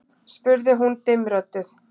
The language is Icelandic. spurði hún dimmrödduð.